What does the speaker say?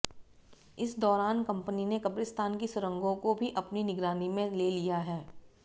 इस दौरान कंपनी ने कब्रिस्तान की सुरंगों को भी अपनी निगरानी में ले लिया है